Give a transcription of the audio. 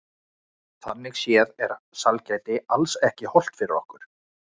Þannig séð er sælgæti alls ekki hollt fyrir okkur.